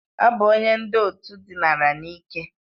Ọ bụ onye ndị òtù dinara n'ike.